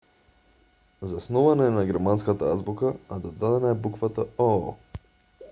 заснована е на германската азбука а додадена е буквата õ/õ